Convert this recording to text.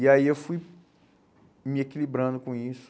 E aí eu fui me equilibrando com isso.